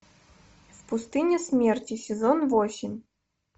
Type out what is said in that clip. в пустыне смерти сезон восемь